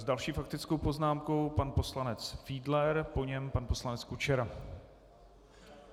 S další faktickou poznámkou pan poslanec Fiedler, po něm pan poslanec Kučera.